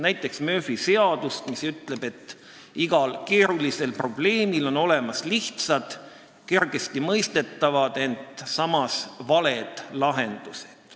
Näiteks ütleb Murphy seadus, et igal keerulisel probleemil on olemas lihtsad, kergesti mõistetavad, ent samas valed lahendused.